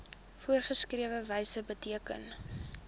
voorgeskrewe wyse beteken